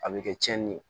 A bɛ kɛ tiɲɛni ye